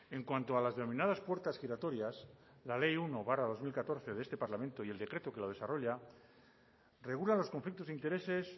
en cuanto a las denominadas puertas giratorias la ley uno barra dos mil catorce de este parlamento y el decreto que lo desarrolla regula los conflictos de intereses